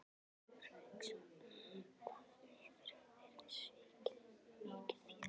Haukur Hauksson: Hvað hefurðu verið svikinn um mikið fé?